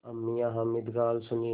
अब मियाँ हामिद का हाल सुनिए